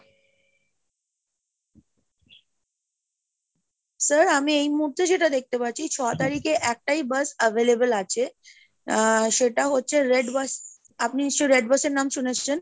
sir আমি এই মুহূর্তে যেটা দেখতে পাচ্ছি ছ তারিখে একটাই bus available আছে, আহ সেটা হচ্ছে red bus আপনি নিশ্চয়ই red bus এর নাম শুনেছেন?